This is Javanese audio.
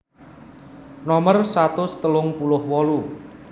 Nomer satus telung puluh wolu